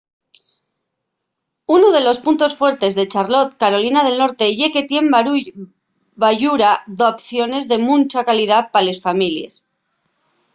unu de los puntos fuertes de charlotte carolina del norte ye que tien bayura d’opciones de muncha calidá pa les families